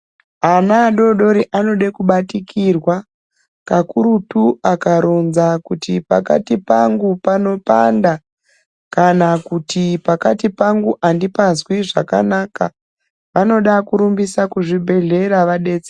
Ana adodori anoda kubatikirwa kakurutu akaronza kuti pakati pangu panopanda kana kuti pakati pangu andipazwi zvakanaka vanoda kurumbisa kuzvibhedhlera vadetsereke.